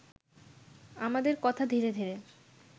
আমাদের কথা ধীরে ধীরে